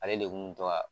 Ale de kun mi to ka